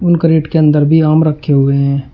Carat के अंदर भी आम रखे हुए हैं।